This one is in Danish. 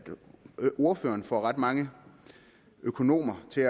ordføreren får ret mange økonomer til